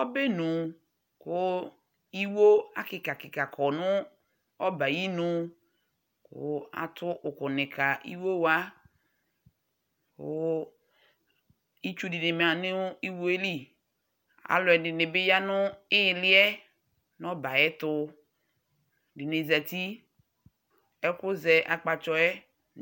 Ɔbɛnʋ kʋ iwo akɩka kɩka kɔ nʋ ɔbɛ ayinu kʋ atʋ ʋkʋnɩ ka iwo wa, kʋ itsu ɖɩnɩ bɩ ma nʋ iwo yɛ li Alʋɛdɩnɩ bɩ ya nʋ iili yɛ nʋ ɔbɛ ayɛtʋ, ɛdɩnɩ zati, ɛkʋ zɛ akpatsɔ yɛ,